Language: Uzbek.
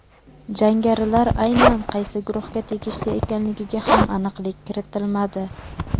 Jangarilar aynan qaysi guruhga tegishli ekanligiga ham aniqlik kiritilmadi.